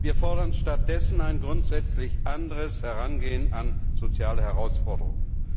Wir fordern stattdessen ein grundsätzlich anderes Herangehen an soziale Herausforderungen.